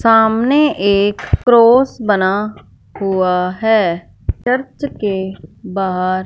सामने एक क्रॉस बना हुआ है चर्च के बाहर--